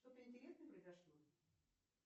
что то интересное произошло